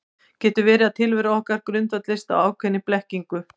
Getur verið að tilvera okkar grundvallist á ákveðinni blekkingu?